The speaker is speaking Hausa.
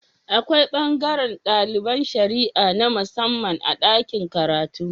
Akwai bangaran daliban shara'a na musamman a dakin karatu